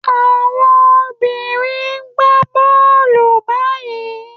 Àwọn obìnrin ń gba bọ́ọ́lù báyìí.